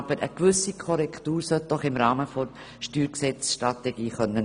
Aber eine gewisse Korrektur sollte doch im Rahmen der Steuergesetzstrategie erfolgen können.